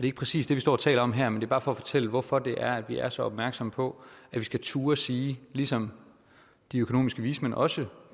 ikke præcis det vi står og taler om her men det er bare for at fortælle hvorfor det er at vi er så opmærksomme på at vi skal turde sige ligesom de økonomiske vismænd også